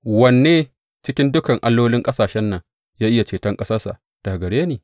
Wanne cikin dukan allolin ƙasashen nan ya iya ceton ƙasarsa daga gare ni?